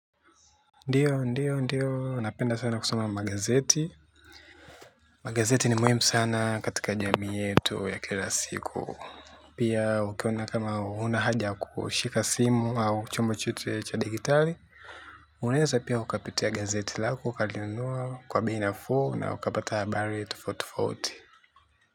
Ndiyo, ndiyo, ndiyo, napenda sana kusoma magazeti. Magazeti ni muhimu sana katika jamii yetu ya kila siku. Pia ukiona kama hunahaja ya kushika simu au chombo chote cha dijitali. Unaeza pia ukapitia gazeti lako ukalinunua kwa bei nafuu na ukapata habari tofauti tofauti.